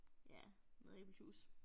Ja noget æblejuice